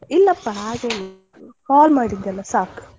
ಇಲ್ಲಪ್ಪ ಹಾಗೇನಿಲ್ಲ call ಮಾಡಿದ್ರಲಾ ಸಾಕು.